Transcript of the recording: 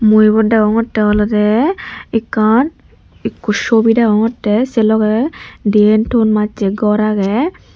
mui ebot degongotte olowde ekkan ekko sobi degongotte se logey diyen ton majje gor agey.